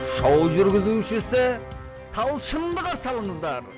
шоу жүргізушісі талшынды қарсы алыңыздар